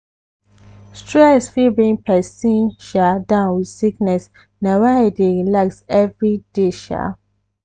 stress fit bring persin sha down with sickness na why i i dey relax everyday. sha